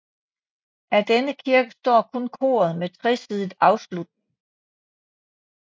Af denne kirke står kun koret med tresidet afslutning